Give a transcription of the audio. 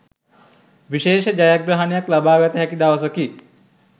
විශේෂ ජයග්‍රහණයක් ලබාගත හැකි දවසකි.